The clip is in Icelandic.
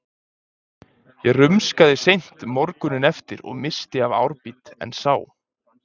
Ég rumskaði seint morguninn eftir og missti af árbít, en sá